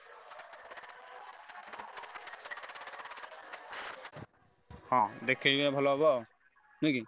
ହଁ ଦେଖେଇଲେ ଭଲ ହବ ନୁହେଁ କି?